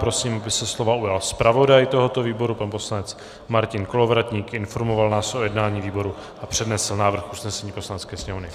Prosím, aby se slova ujal zpravodaj tohoto výboru pan poslanec Martin Kolovratník, informoval nás o jednání výboru a přednesl návrh usnesení Poslanecké sněmovny.